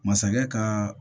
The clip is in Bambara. Masakɛ ka